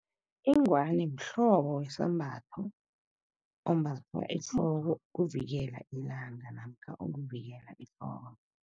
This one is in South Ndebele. Ingwani mhlobo wesambatho, ombathwa ehloko ukuvikela ilanga namkha ukuvikela ihloko.